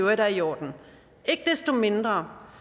øvrigt er i orden ikke desto mindre